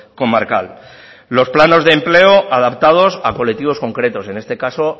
comarcal los planos de empleo adaptados a colectivos concretos en este caso